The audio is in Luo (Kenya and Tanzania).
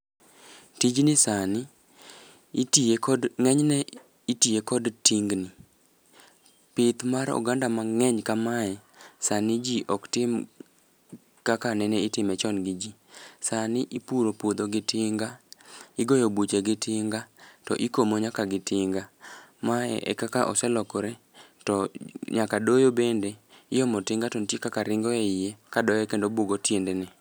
Tijni sani itiye kod ng'eny ne itiye kod tingni. Pith mar oganda mang'eny kamae sani ji ok tim kaka nene itime chon gi ji. Sani ipuro puodho gi tinga, igoyo buche gi tinga, to ikomo nyaka gi tinga. Mae e kaka oselokore, to nyaka doyo bende iomo tinga to ntie kaka ringo e iye ka doye kendo bugo tiende ne.